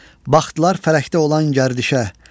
Baxdılar fələkdə olan gərdişə.